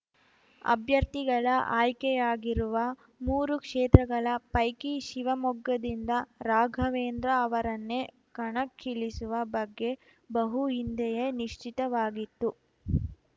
ಅಭ್ಯರ್ಥಿಗಳ ಆಯ್ಕೆಯಾಗಿರುವ ಮೂರು ಕ್ಷೇತ್ರಗಳ ಪೈಕಿ ಶಿವಮೊಗ್ಗದಿಂದ ರಾಘವೇಂದ್ರ ಅವರನ್ನೇ ಕಣಕ್ಕಿಳಿಸುವ ಬಗ್ಗೆ ಬಹು ಹಿಂದೆಯೇ ನಿಶ್ಚಿತವಾಗಿತ್ತು